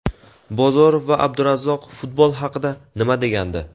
Bozorov va Abdurazzoqov futbol haqida nima degandi?.